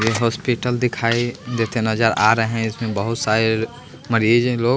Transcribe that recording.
ये हॉस्पिटल दिखाई देते नजर आ रहे हैं इसमें बहुत सारे मरीज लोग--